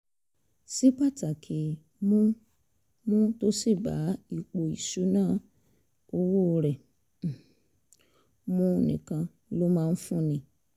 sí pàtàkì mu mu tó sì bá ipò ìṣúnná owó rẹ̀ um mu nìkan ló máa ń fúnni